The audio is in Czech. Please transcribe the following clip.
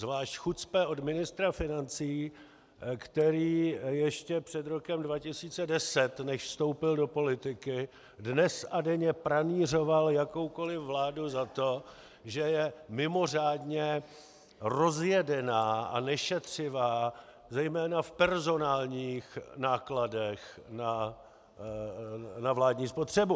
Zvlášť chucpe od ministra financí, který ještě před rokem 2010, než vstoupil do politiky, dnes a denně pranýřoval jakoukoli vládu za to, že je mimořádně rozjedená a nešetřivá zejména v personálních nákladech na vládní spotřebu.